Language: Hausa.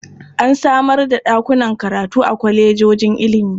An samar da a ɗakunan karatu a kwalejojin ilimi.